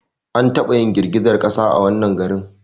An taba yin girgizar kasa a wannan garin